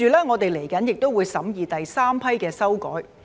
我們接着亦會審議第三批的修改。